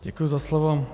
Děkuji za slovo.